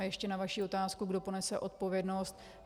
A ještě na vaši otázku, kdo ponese odpovědnost.